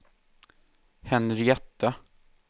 Henrietta